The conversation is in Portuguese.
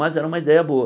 Mas era uma ideia boa.